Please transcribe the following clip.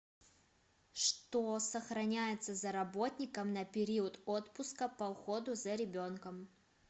что сохраняется за работником на период отпуска по уходу за ребенком